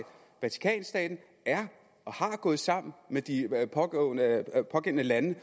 vatikanstaten er gået sammen med de pågældende lande